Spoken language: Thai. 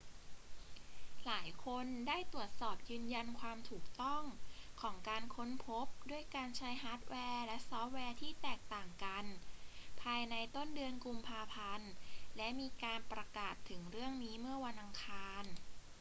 หลายคนได้ตรวจสอบยืนยันความถูกต้องของการค้นพบด้วยการใช้ฮาร์ดแวร์และซอฟต์แวร์ที่แตกต่างกันภายในต้นเดือนกุมภาพันธ์ และมีการประกาศถึงเรื่องนี้เมื่อวันอังคาร